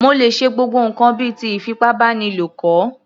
Mo lè ṣe gbogbo ǹkan bíi ti ìfipábánilo kọ̀